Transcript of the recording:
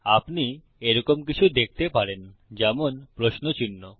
আপনি এইরকম কিছু দেখতে পারেন যেমন প্রশ্ন চিহ্ন